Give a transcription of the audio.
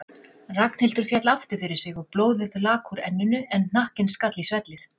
Ragnhildur féll aftur fyrir sig og blóðið lak úr enninu en hnakkinn skall í svellið.